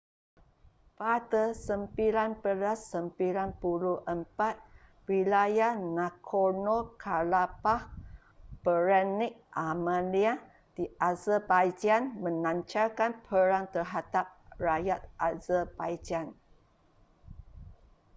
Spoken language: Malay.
pada 1994 wilayah nagorno-karabakh beretnik armenia di azerbaijan melancarkan perang terhadap rakyat azerbaijan